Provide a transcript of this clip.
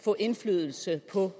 få indflydelse på